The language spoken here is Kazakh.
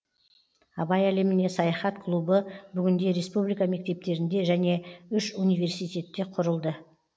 абай әлеміне саяхат клубы бүгінде республика мектептерінде және үш университетте құрылды